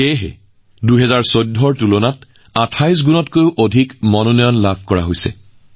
এই কাৰণেই ২০১৪ চনৰ তুলনাত এইবাৰ ২৮গুণ বেছি মনোনয়ন লাভ কৰিছে